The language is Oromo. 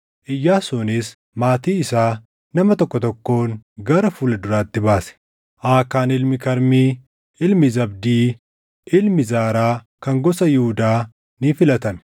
Iyyaasuunis maatii isaa nama tokko tokkoon gara fuula duratti baase; Aakaan ilmi Karmii, ilmi Zabdii, ilmi Zaaraa kan gosa Yihuudaa ni filatame.